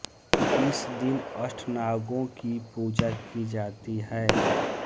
इस दिन अष्टनागों की पूजा की जाती है